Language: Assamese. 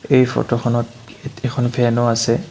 এই ফটোখনত ইয়াতে এখন ফেনো আছে।